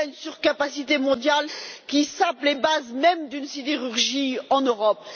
Il y a une surcapacité mondiale qui sape les bases mêmes d'une sidérurgie en Europe.